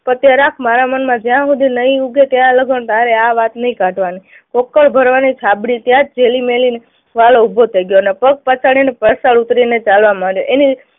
મારા મનમાં નહી ઉગે ત્યાં લગી તારે આ વાત નહી કાઢવાની. ચોખા ભરવાની છાબડી ત્યાં જ થેલી મેલીને વાળો ઉભો થઇ ગયો અને પગ પછાડીને પરસાળ ઉતરીને ચાલવા માંડ્યો. એની